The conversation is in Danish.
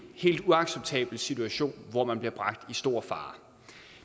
helt uacceptabel situation hvor man bliver bragt i stor fare